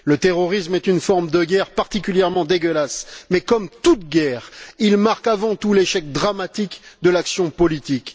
Le terrorisme est une forme de guerre particulièrement dégueulasse, mais comme toute guerre, il marque avant tout l'échec dramatique de l'action politique.